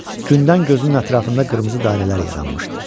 Gündən gözünün ətrafında qırmızı dairələr yaranmışdı.